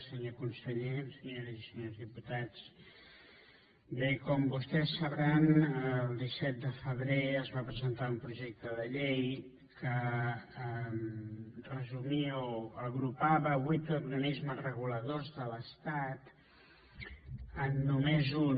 senyor conseller senyores i senyors diputats bé com vostès deuen saber el disset de febrer es va presentar un projecte de llei que agrupava vuit organismes reguladors de l’estat en només un